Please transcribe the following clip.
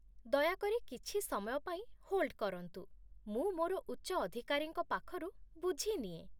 ଦୟାକରି କିଛି ସମୟ ପାଇଁ ହୋଲ୍ଡ କରନ୍ତୁ । ମୁଁ ମୋର ଉଚ୍ଚ ଅଧିକାରୀଙ୍କ ପାଖରୁ ବୁଝିନିଏ।